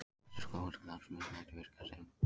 Þessi slóvenski landsliðsmaður gæti virkað sem